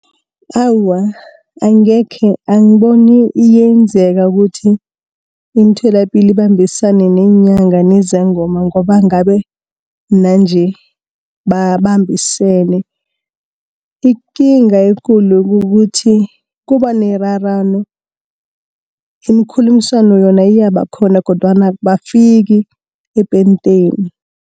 Awa, angekhe angiboni iyenzeka ukuthi imitholapilo ibambisane neenyanga nezangoma ngoba ngabe nanje babambisene. Ikinga ekulu kukuthi kuba nerarano, imikhulumiswano yona iyaba khona kodwana abafiki epenteni.